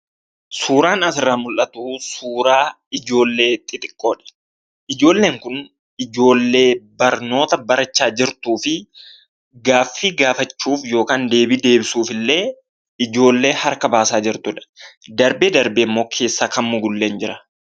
Suuraan asirraa mul'atu kun, suuraa ijoollee xixiiqqoodha. Ijoolleen kun, ijoollee barnoota barachaa jirtuufi gaaffii deebisuufillee ijoollee harka baasaa jirtudha. Darbee darbee immoo keessaa kan mugullee hin jira.